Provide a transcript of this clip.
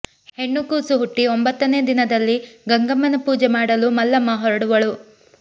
ಹೆಣ್ಣು ಕೂಸು ಹುಟ್ಟಿ ಒಂಭತ್ತನೇ ದಿನದಲ್ಲಿ ಗಂಗಮ್ಮನ ಪೂಜೆ ಮಾಡಲು ಮಲ್ಲಮ್ಮ ಹೊರಡುವಳು